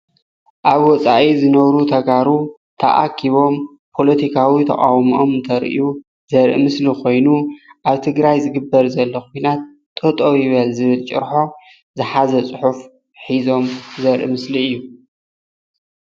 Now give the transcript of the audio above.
ኣብ ወጻኢ ዝነብሩ ተጋሩ ተኣኪቦም ፖለቲካዊ ተቃዉምኦም እንተሪኡ ዘርኢ ምስሊ ኮይኑ ኣብ ትግራይ ዝግበር ዘሎ ኩናት ጠጠዉ ይበል ዝብል ጭርሖ ዝሓዘ ፅሑፍ ሒዞም ዘርኢ ምስሊ እዩ።